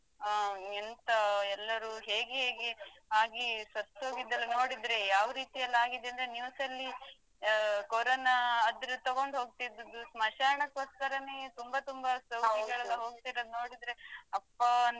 ಹ ಎಂತ ಎಲ್ಲರೂ ಹೇಗೆ ಹೇಗೆ ಹಾಗೆ ಸತ್ತ ಹೋಗಿದರಲ್ಲಾ ನೋಡಿದ್ರೆ ಯಾವ ರೀತಿಯಲ್ಲಿ ಆಗಿದೇಂದ್ರೆ news ಲ್ಲಿ ಅಹ್ Corona ಅದ್ರು ತಗೊಂಡ್ ಹೋಗ್ತಿದ್ದದು ಸ್ಮಶಾನಕೋಸ್ಕರನೇ ತುಂಬಾ ತುಂಬಾ ಸೌದಿಗಳೆಲ್ಲಾ ಹೋಗ್ತಿರದು ನೋಡಿದ್ರೆ ಅಪ್ಪಾ ಅನ್ಸಿತ್ತು.